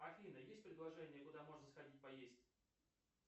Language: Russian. афина есть предложения куда можно сходить поесть